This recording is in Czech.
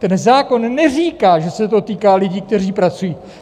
Ten zákon neříká, že se to týká lidí, kteří pracují!